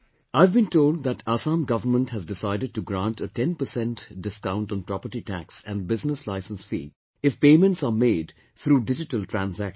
I've been told that Assam Government has decided to grant a 10% discount on property tax and business license fee if payments are made through digital transaction